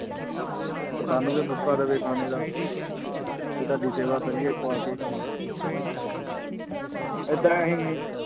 ਔਰ ਸਾਨੂੰ ਵੀ ਮੌਕਾ ਦੇਵੇ ਖਾਣੇ ਦਾ ਕਿ ਤੁਹਾਡੀ ਸੇਵਾ ਕਰੀਏ ਖਵਾ ਕੇ ਏਦਾਂ ਹੀ